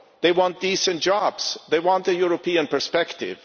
They want decent jobs, they want a European perspective.